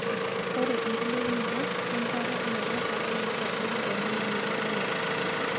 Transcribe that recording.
ore enkilepunoto we enkare enaiposha naa keitadoyo embulata endaa